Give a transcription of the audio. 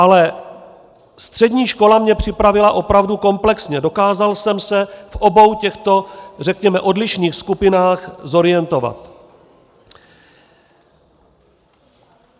Ale střední škola mě připravila opravdu komplexně, dokázal jsem se v obou těchto řekněme odlišných skupinách zorientovat.